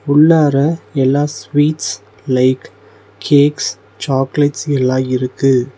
உள்ளார எல்லா sweets like cakes chocolates எல்லா இருக்கு.